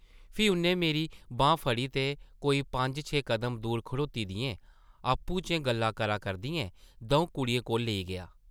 फ्ही उʼन्नै मेरी बांह् फड़ी ते कोई पंज छे कदम दूर खड़ोती दियें, आपूं चें गल्लां करै करदियें दʼऊं कुड़ियें कोल लेई गेआ ।